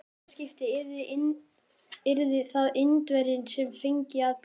Í þetta skipti yrði það Indverjinn, sem fengi að bíða.